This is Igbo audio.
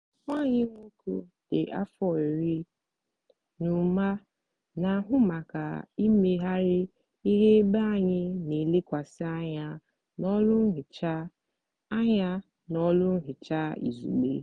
nwa anyị nwoke dị afọ iri na ụma na-ahụ maka imegharị ihe ebe anyị n'elekwasị anya n'ọlụ nhicha anya n'ọlụ nhicha izugbe.